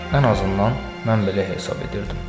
Ən azından mən belə hesab edirdim.